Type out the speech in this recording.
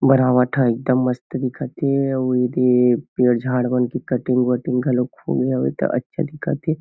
बनावट ह एकदम मस्त दिखत हे अउ ये पेड़ झाड़ बन के कटिंग वेटिंग होए हवय ता अच्छा दिखत हे।